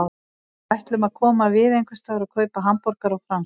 Við ætlum að koma við einhversstaðar og kaupa hamborgara og franskar.